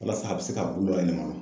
Walasa a bɛ se ka bulu ale ma